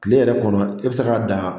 Kile yɛrɛ kɔnɔ i bi se ka dan